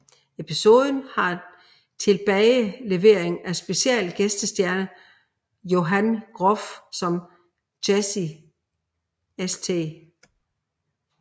Episoden har tilbagelevering af special gæstestjerne Jonathan Groff som Jesse St